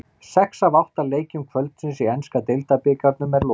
Sex af átta leikjum kvöldsins í enska deildabikarnum er lokið.